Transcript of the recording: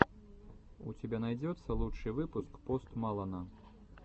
у тебя найдется лучший выпуск пост малона